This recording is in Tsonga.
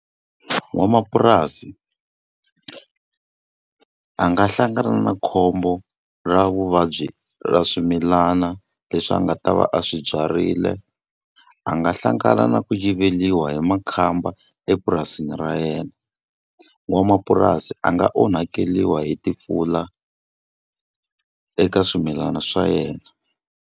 N'wamapurasi a nga hlangana na khombo ra vuvabyi ra swimilana leswi a nga ta va a swi byarile. A nga va hlangana na ku yiveriwa hi makhamba epurasini ra yena. N'wamapurasi a nga onhakeriwa hi timpfula eka swimilana swa yena.